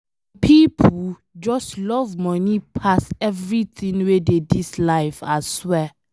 Some pipo just love money pass everything wey dey dis life aswear